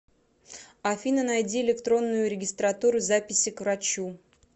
афина найди электронную регистратуру записи к врачу